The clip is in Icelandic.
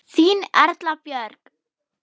Þín Erla Björk.